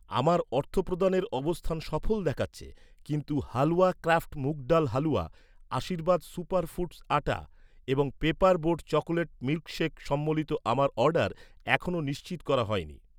আমার অর্থপ্রদানের অবস্থান সফল দেখাচ্ছে, কিন্তু halwa craft moong dal halwa , Aashirvaad super foods atta এবং পেপার বোট চকোলেট মিল্কসেক সম্বলিত আমার অর্ডার এখনও নিশ্চিত করা হয়নি